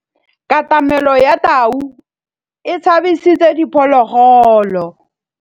Katamêlô ya tau e tshabisitse diphôlôgôlô.